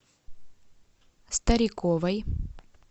стариковой